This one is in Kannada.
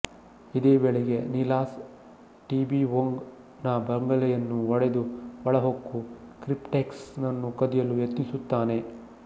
ಇದೇ ವೇಳೆಗೆ ಸಿಲಾಸ್ ಟೀಬಿಒಂಗ್ ನ ಬಂಗಲೆಯನ್ನು ಒಡೆದು ಒಳಹೊಕ್ಕು ಕ್ರಿಪ್ಟೆಕ್ಸ್ ನ್ನು ಕದಿಯಲು ಯತ್ನಿಸುತ್ತಾನೆ